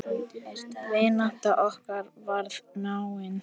Vinátta okkar varð náin.